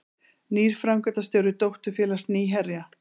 Nýr framkvæmdastjóri dótturfélags Nýherja